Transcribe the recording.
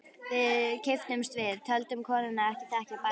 Við kipptumst við, töldum konuna ekki þekkja barnið.